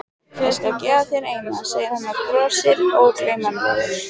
Ég skal gefa þér eina, segir hann og brosir ógleymanlegur.